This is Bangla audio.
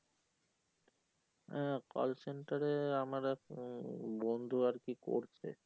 আহ call center এ আমার এক আহ বন্ধু আর কি করছে